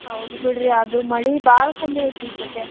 ಹೌದ್ ಬಿಡ್ರಿ ಅದು ಮಳಿ ಬಾಳ ಕಮ್ಮಿ ಐತಿ ಇಸತೇ.